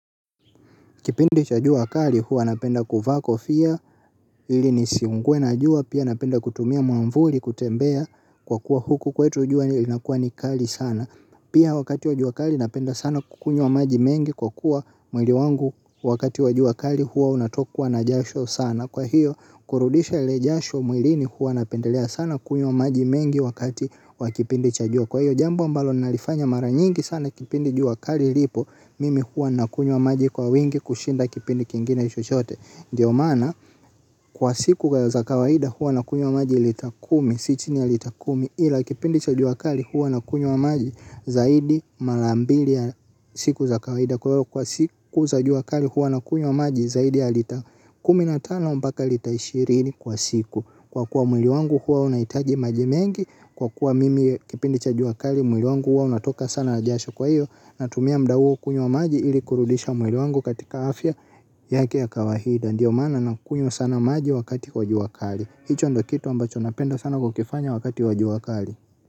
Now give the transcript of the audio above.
Kipindi cha jua kali huwa napenda kuvaa kofia ili nisiungue na jua pia napenda kutumia mwavuli kutembea kwa kuwa huku kwetu jua linakuwa ni kali sana. Pia wakati wa jua kali napenda sana kukunywa maji mengi kwa kuwa mwili wangu wakati wa jua kali huwa unatokwa na jasho sana. Kwa hiyo kurudisha ile jasho mwilini huwa napendelea sana kunywa maji mengi wakati wa kipindi cha jua. Kwa hiyo jambo ambalo ninalifanya mara nyingi sana kipindi jua kali lipo. Mimi hua nakunywa maji kwa wingi kushinda kipindi kingine chochote ndio maana kwa siku kwa za kawaida hua nakunywa maji lita kumi. Si chini ya lita kumi ila kipindi cha jua kali hua nakunywa maji zaidi mara mbili ya siku za kawaida. Kwa hiyo kwa siku za jua kali hua nakunywa maji zaidi ya lita kumi na tano mpaka lita ishirini kwa siku. Kwa kuwa mwili wangu hua unahitaji maji mengi. Kwa kuwa mimi kipindi cha jua kali mwili wangu huwa unatoka sana jasho kwa hiyo natumia muda huo kunywa maji ili kurudisha mwili wangu katika afya yake ya kawaida. Ndiyo maana nakunywa sana maji wakati wa jua kali. Hicho ndo kitu ambacho napenda sana kukifanya wakati wa jua kali.